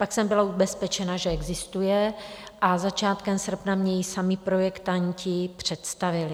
Pak jsem byla ubezpečena, že existuje, a začátkem srpna mně ji sami projektanti představili.